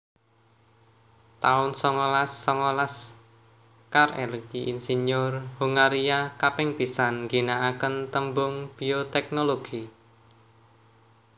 taun songolas songolas Karl Ereky insinyur Hongaria kaping pisan ginaaken tembung bioteknologi